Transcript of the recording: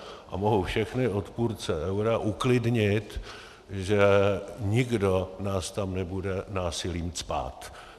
A mohu všechny odpůrce eura uklidnit, že nikdo nás tam nebude násilím cpát.